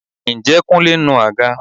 Ǹjẹ́ Kúnlé ń nu àga?